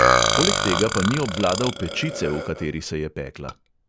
Poleg tega pa ni obvladal pečice, v kateri se je pekla.